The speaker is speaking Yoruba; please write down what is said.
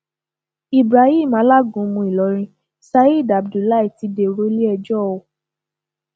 ibrahim alágúnmu ìlọrin saheed abdullahi ti dèrò iléẹjọ o